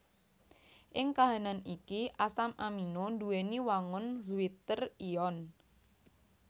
Ing kahanan iki asam amino nduwèni wangun zwitter ion